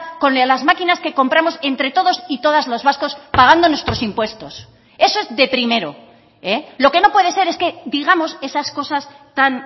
con las máquinas que compramos entre todos y todas los vascos pagando nuestros impuestos eso es de primero lo que no puede ser es que digamos esas cosas tan